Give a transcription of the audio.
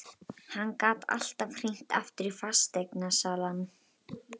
Hann gat alltaf hringt aftur í fasteignasalann.